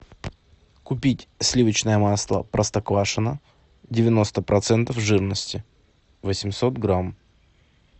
купить сливочное масло простоквашино девяносто процентов жирности восемьсот грамм